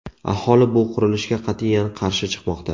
Aholi bu qurilishga qat’iyan qarshi chiqmoqda.